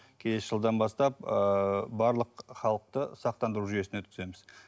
келесі жылдан бастап ыыы барлық халықты сақтандыру жүйесіне өткіземіз